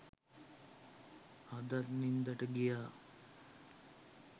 හඳත් නින්දට ගියා